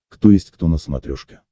кто есть кто на смотрешке